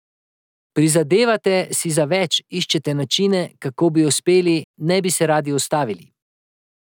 Prizadevate si za več, iščete načine, kako bi uspeli, ne bi se radi ustavili.